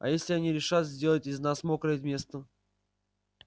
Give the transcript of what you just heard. а если они решат сделать из нас мокрое место